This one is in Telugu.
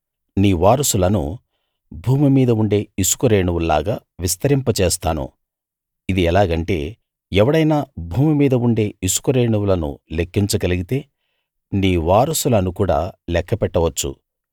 నీ వారసులను భూమి మీద ఉండే ఇసుక రేణువుల్లాగా విస్తరింపజేస్తాను ఇది ఎలాగంటే ఎవడైనా భూమి మీద ఉండే ఇసుక రేణువులను లెక్కించగలిగితే నీ వారసులనుకూడా లెక్కపెట్టవచ్చు